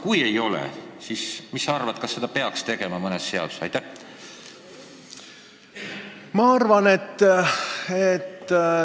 Kui ei ole, siis mis sa arvad, kas seda peaks tegema mõnes seaduses?